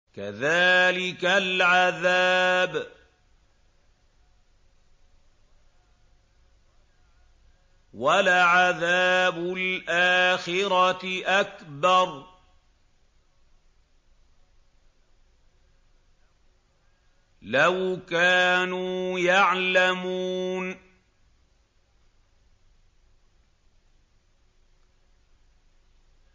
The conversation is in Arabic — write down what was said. كَذَٰلِكَ الْعَذَابُ ۖ وَلَعَذَابُ الْآخِرَةِ أَكْبَرُ ۚ لَوْ كَانُوا يَعْلَمُونَ